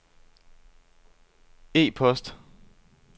e-post